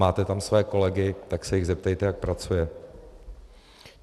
Máte tam své kolegy, tak se jich zeptejte, jak pracuje.